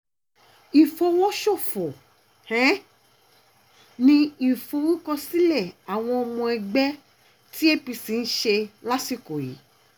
ìfọwọ́sòfò um ni ìforúkọsílẹ̀ àwọn ọmọ ẹgbẹ́ tí apc ń ṣe lásìkò yìí um